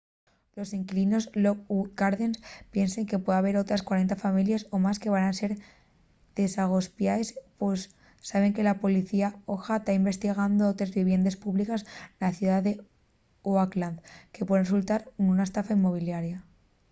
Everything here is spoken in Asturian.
los inquilinos en lockwood gardens piensen que pue haber otres 40 families o más que van ser desagospiaes pos saben que la policía oha ta investigando otres viviendes públiques na ciudá d’oakland que puen resultar nuna estafa inmobiliaria